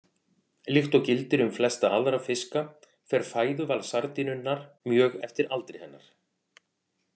Líkt og gildir um flesta aðra fiska fer fæðuval sardínunnar mjög eftir aldri hennar.